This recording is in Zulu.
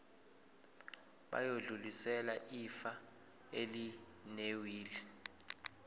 bayodlulisela ifa elinewili